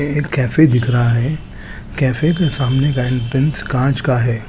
ये एक कैफ़े दिख रहा है कैफ़े के सामने गाइद्रेंस काच का है।